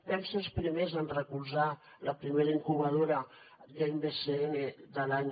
vam ser els primers en recolzar la primera incubadora gamebcn de l’any